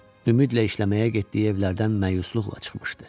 Ümidlə işləməyə getdiyi evlərdən məyusluqla çıxmışdı.